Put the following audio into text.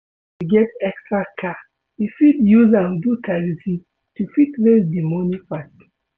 if you get extra car, you fit use am do taxi to fit raise di money fast